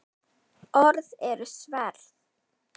Orð eru sverð.